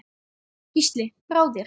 Gísli: Brá þér?